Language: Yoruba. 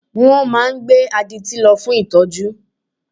Wọ́n máa gbé adití lọ fún ìtọ́jú